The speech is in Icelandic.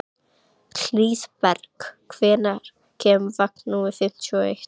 Hlíðberg, hvenær kemur vagn númer fimmtíu og eitt?